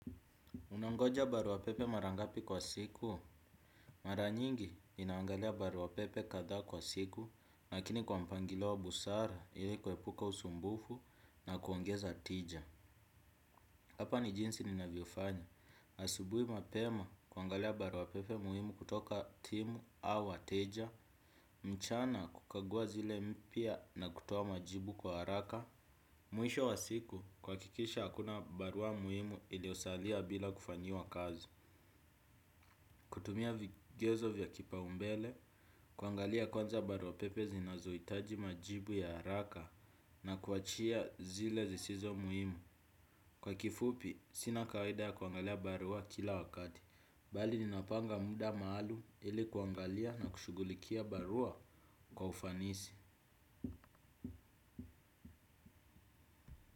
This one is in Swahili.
Unangoja barua pepe mara ngapi kwa siku? Mara nyingi ninangalia barua pepe kadhaa kwa siku lakini kwa mpangilio wa busara ili kuepuka usumbufu na kuongeza tija. Hapa ni jinsi ninavyofanya. Asubuhi mapema kuangalia barua pepe muhimu kutoka timu au wateja. Mchana kukagua zile mpya na kutoa majibu kwa haraka. Mwisho wa siku kuhakikisha hakuna barua muhimu iliyosalia bila kufanyiwa kazi. Kutumia vigezo vya kipaumbele kuangalia kwanza barua pepe zinazohitaji majibu ya haraka na kuachia zile zisizo muhimu. Kwa kifupi, sina kawaida ya kuangalia barua kila wakati. Bali ninapanga muda maalumu ili kuangalia na kushughulikia barua kwa ufanisi.